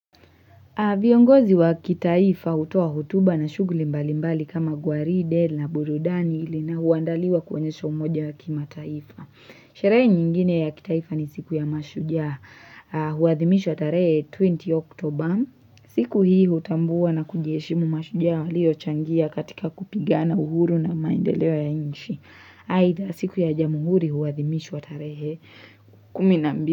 Viongozi wa kitaifa hutoa hotuba na shughli mbalimbali kama Gwaride na burudani ili na huandaliwa kuonyesha umoja wa kimataifa. Sherehe nyingine ya kitaifa ni siku ya mashujaa huathimishwa wa tarehe 20 Oktober. Siku hii hutambuwa na kujieshimu mashujaa waliochangia katika kupigana uhuru na maendeleo ya inchi. Haidha siku ya jamuhuri huwadhimishwa tarehe kumi na mbi.